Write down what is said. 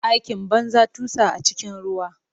Aikin banza, tusa a cikin ruwa.